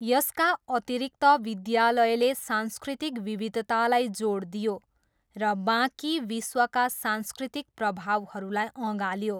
यसका अतिरिक्त, विद्यालयले सांस्कृतिक विविधतालाई जोड दियो र बाँकी विश्वका सांस्कृतिक प्रभावहरूलाई अँगाल्यो।